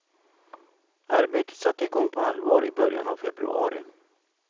Arbetet satte igång på allvar i början av februari.